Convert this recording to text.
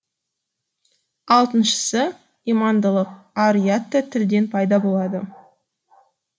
алтыншысы имандылык ар у ят та тілден пайда болады